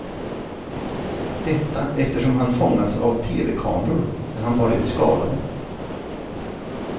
Detta eftersom han fångats av tevekameror när han bar ut skadade.